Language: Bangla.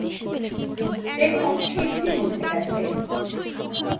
দেখুন sheetthe মুছে গেছে